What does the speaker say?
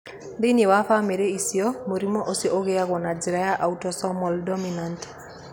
Thĩinĩ wa famĩlĩ icio, mũrimũ ũcio ũigagwo na njĩra ya autosomal dominant.